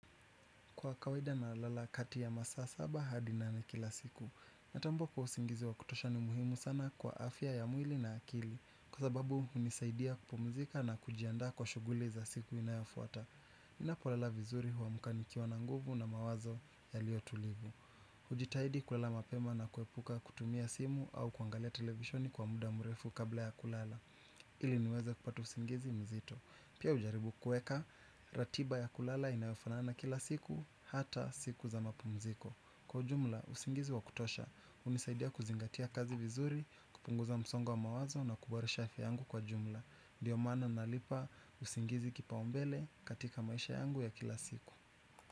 Kwa kawaida na lala kati ya masaa saba hadi nane kila siku. Natambuwa usingizi wa kutosha ni muhimu sana kwa afya ya mwili na akili. Kwa sababu unisaidia kupumzika na kujianda kwa shuguli za siku inayafuata ninapo lala vizuri huamuka nikiwa na nguvu na mawazo yaliyo tuliya. Ujitahidi kulala mapema na kuepuka kutumia simu au kuangalia televisioni kwa muda mrefu kabla ya kulala. Ili niweze kupata usingizi mzito pia ujaribu kuweka ratiba ya kulala inayo fanana na kila siku ata siku za mapumzigo, kwa ujumla usingizi wa kutosha unisaidia kuzingatia kazi vizuri kupunguza msongo wa mawazo na kuboresha afya yangu kwa jumla. Ndiyo maana nahipa, usingizi kipaombele katika maisha yangu ya kila siku.